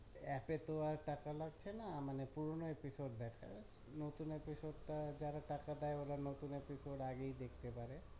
App এ তো আর টাকা লাগছে না মানে পুরনো episode দেখায় নতুন episode টা যারা টাকা দেয় ওরা আগেই দেখতে পারে